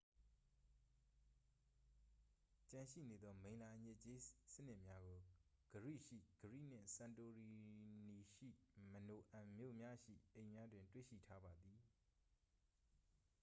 ကျန်ရှိနေသော မိလ္လာအညစ်အကြေးစနစ်များကို ဂရိရှိ ခရိ နှင့် စန်တိုရီနီရှိ မီနိုအန် မြို့များရှိအိမ်များတွင် တွေ့ရှိထားပါသည်